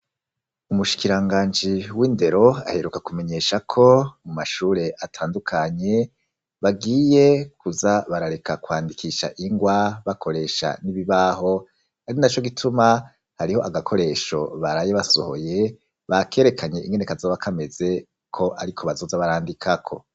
Umushikiranganji w'indero, aheruka kumenyesha ko mu mashure atandukanye, bagiye kuza barareka kwandikisha ingwa bakoresha n'ibibaho, ari naco gituma hariho agakoresho baraye basohoye, bakerekanye ingene kazoba kameze ko ariko bazoza barandikako.